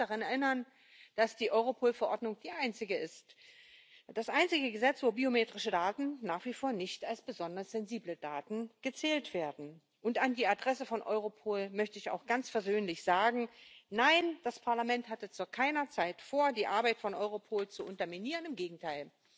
Ich darf daran erinnern, dass die Europol Verordnung die einzige ist, das einzige Gesetz, in dem biometrische Daten nach wie vor nicht als besonders sensible Daten gezählt werden. Und an die Adresse von Europol möchte ich auch ganz versöhnlich sagen Nein, das Parlament hatte zu keiner Zeit vor, die Arbeit von Europol zu unterminieren im Gegenteil